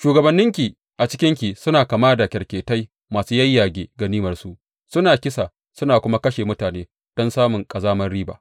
Shugabanninki a cikinki suna kama da kyarketai masu yayyage ganimarsu; suna kisa suna kuma kashe mutane don samun ƙazamar riba.